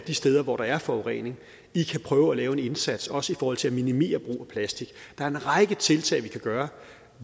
de steder hvor der er forurening i kan prøve at lave en indsats også i forhold til at minimere brug af plastik der er en række tiltag vi kan gøre